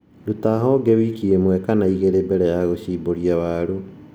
Ruta honge wiki ĩmwe kana igĩlĩ mbele ya gũshimbũria waru